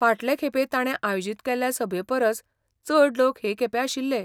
फाटले खेपे ताणें आयोजीत केल्ल्या सभेपरस चड लोक हे खेपे आशिल्ले.